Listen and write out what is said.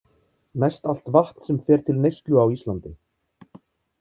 Mest allt vatn sem fer til neyslu á Íslandi.